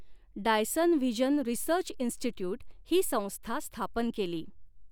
Dyson vision research institute ही संस्था स्थापन केली.